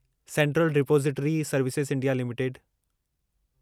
central depository services India limited